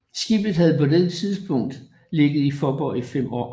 Skibet havde på dette tidspunkt ligget i Faaborg i 5 år